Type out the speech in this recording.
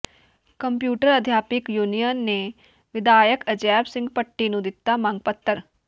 computer ਅਧਿਆਪਕ union ਨੇ ਵਿਧਾਇਕ ਅਜੈਬ ਸਿੰਘ ਭੱਟੀ ਨੂੰ ਦਿੱਤਾ ਮੰਗ ਪੱਤਰ